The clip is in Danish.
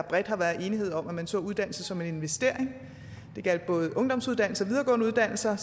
bredt har været enighed om at man så uddannelse som en investering det gjaldt både ungdomsuddannelser og videregående uddannelser